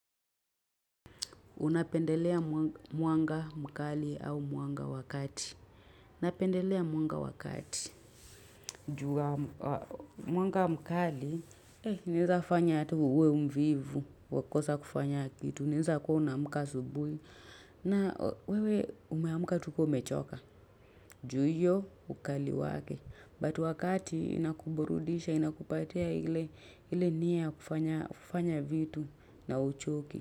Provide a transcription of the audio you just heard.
Unapendelea mwanga mkali au mwanga wakati. Napendelea mwanga wakati. Ju a mwanga mkali. Naezafanya ata uwe mvivu. Wakosa kufanya kitu. Naeza kuwa unaamka asubuhi. Na wewe umeamka tu ka umechoka. Ju hiyo ukali wake. But wa kati inakuburudisha, inakupatia ile nia ya kufanya vitu na uchoki.